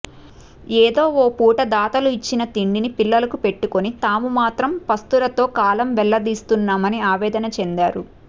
ఏదో ఓ పూట దాతలు ఇచ్చిన తిండిని పిల్లలకు పెట్టుకొని తాము మాత్రం పస్తులతో కాలం వెల్లదీస్తున్నామని ఆవేదన చెందారు